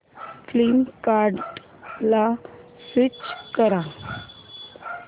फ्लिपकार्टं ला स्विच कर